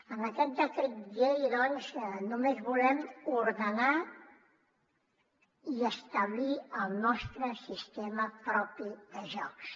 amb aquest decret llei doncs només volem ordenar i establir el nostre sistema propi de jocs